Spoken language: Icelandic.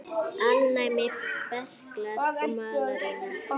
Alnæmi, berklar og malaría